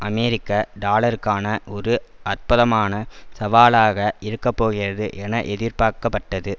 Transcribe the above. அமெரிக்க டாலருக்கான ஒரு அற்பதமான சவாலாக இருக்கப்போகிறது என எதிர்பார்க்கப்பட்டது